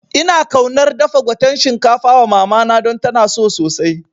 Ina kaunar dafa gwaten shinkafa wa mamana don tana so sosai